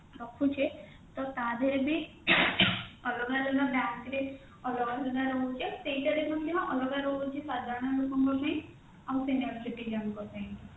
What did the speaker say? ରଖୁଛେ ତ ତା ଦେହରେ ଭି ଅଲଗା ଅଲଗା bank ରେ ଅଲଗା ଅଲଗା ରହୁଛି ସେଇଥିରେ ଯେମିତି ଅଲଗା ରହୁଛି ସାଧାରଣ ଲୋକଙ୍କ ପାଇଁ ଆଉ senior citizen ଙ୍କ ପାଇଁ